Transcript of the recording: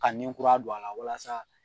Ka ni kura don a la walasa